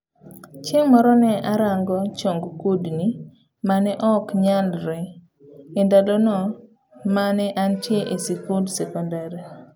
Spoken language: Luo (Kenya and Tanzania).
Chieng' moro ne arango chong kudni mane ok nyalre endalona mane antiel e sikund sekondar.